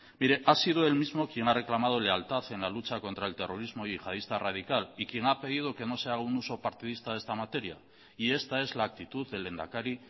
mire ha sido él mismo quien ha reclamado lealtad en la lucha contra el terrorismo yihadista radical y quien ha pedido que no se haga un uso partidista de esta materia y esta es la actitud del lehendakari